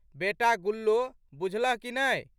बेटा गुल्लो बुझलह कि नहि?